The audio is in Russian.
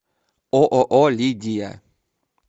ооо лидия